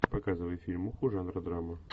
показывай фильмуху жанра драма